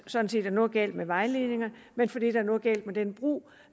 sådan set er noget galt med vejledningerne men fordi der er noget galt med den brug